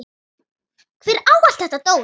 Hver á allt þetta dót?